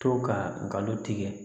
To ka galon tigɛ